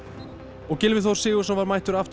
og Gylfi Þór Sigurðsson var mættur aftur í